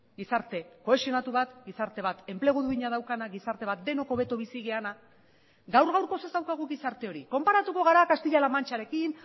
gizarte kohesionatu bat gizarte bat enplegu duina daukana gizarte bat denok hobeto bizi garena gaur gaurkoz ez daukagu gizarte hori konparatuko gara castilla la mancharekin